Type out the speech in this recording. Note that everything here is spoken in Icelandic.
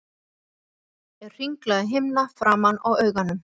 Litan er hringlaga himna framan á auganu.